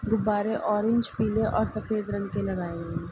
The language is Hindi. गुब्बारे ऑरेंज पीले और सफ़ेद रंग के लगाए हुए हैं।